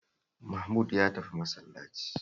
Mahmud ya tafi masallaci